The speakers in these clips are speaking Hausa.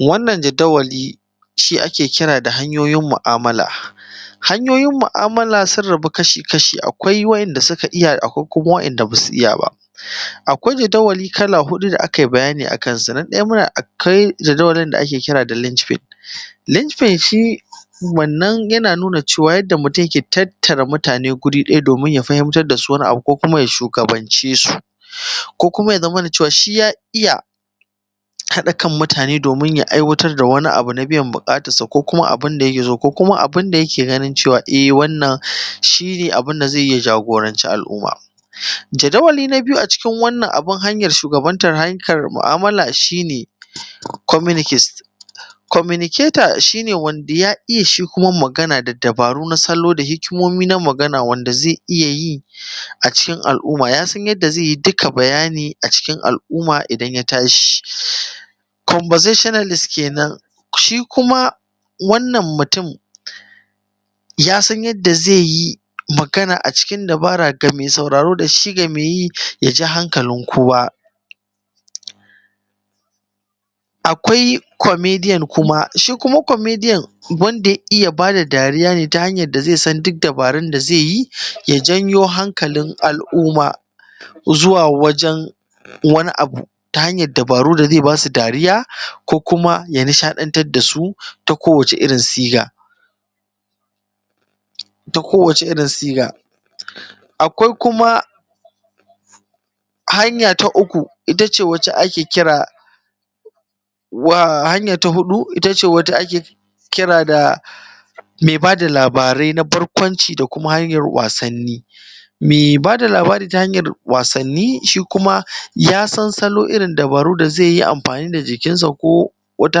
wannan jadawali shi ake kira da hanyoyin mu’amala hanyoyin mu’amala sun rabu kashi kashi akwai waɗanda suka iya akwai kuma waɗanda ba su iya ba akwai jadawali kala huɗu da aka yi bayani a kansu na ɗaya muna akwai jadawalin da ake kira da linchpin linchpin shi wannan yana nuna cewa yadda mutum yake tattara mutane guri ɗaya domin ya fahimtar da su wani abu ko kuma ya shugabance su ko kuma ya zamana cewa shi ya iya haɗa kan mutane domin ya aiwatar da wani abu na na biyan buƙatarsa ko kuma abin da yake so ko kuma abin da yake ganin cewa e wannan shi ne abin da zai yi ya jagoranci al’umma jadawali na biyu a cikin wannan abun hanyar shugabantar hanyukan mu’amala shi ne communcist communicator shi ne wanda ya iya shi kuma magana da dabaru na salo da hikimomi na magana wanda zai iya yi a cikin al’umma ya san yadda zai yi duka bayani a cikin al’umma idan ya tashi conversationalist kenan shi kuma wannan mutum ya san yadda zai yi magana a cikin dabara ga mai sauraro da shi ga mai yi ya ja hankalin kowa akwai comedian kuma shi kuma comedian wanda ya iya ba da dariya ne ta hanyar da zai san duk dabarar da zai yi ya janyo hankalin a’ˀumma zuwa wajen wani abu ta hanyar dabaru da zai ba su dariya ko kuma ya nishaɗantar da su ta kowace irin siga ta kowace irin siga akwai kuma hanya ta uku ita ce wacce ake kira wa hanya ta huɗu ita ce wacce ake kira da mai ba da labarai na barkwanci da kuma hanyar wasanni mai ba da labari ta hanyar wasanni shi kuma ya san salo irin dabaru da zai yi amfani da jikinsa ko wata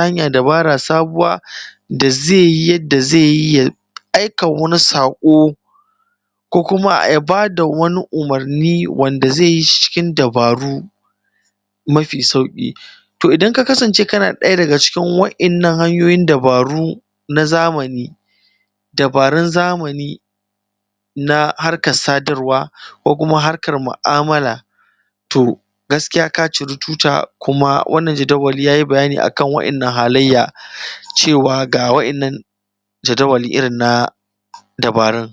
hanyar dabara sabuwa da zai yi yadda zai yi ya aika wani saƙo ko kuma ya ba da wani umarni wanda zai yi shi cikin dabaru mafi sauƙi to idan ka kasance kana ɗaya daga cikin waɗannan hanyoyin dabaru na zamani dabarun zamani na harkar sadarwa ko kuma harkar mu’amala to gaskiya ka ciri tuta kuma wannan jadawali ya yi bayani a kan wannan halayya cewa ga waɗannan jadawali irin na dabarun